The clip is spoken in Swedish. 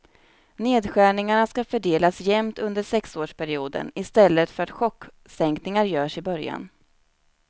Nedskärningarna ska fördelas jämnt under sexårsperioden, i stället för att chocksänkningar görs i början.